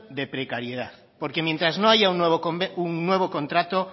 de precariedad porque mientras no haya un nuevo contrato